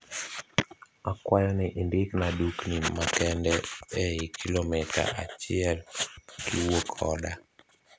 Akwayo ni indikna dukni makende eiy kilomita achiel kiwuok oda